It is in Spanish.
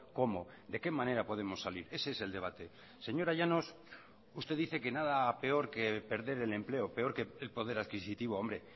cómo de qué manera podemos salir ese es el debate señora llanos usted dice que nada peor que perder el empleo peor que el poder adquisitivo hombre